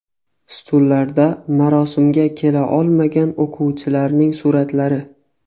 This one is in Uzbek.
Stullarda marosimga kela olmagan o‘quvchilarning suratlari.